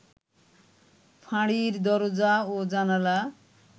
ফাঁড়ির দরজা ও জানালা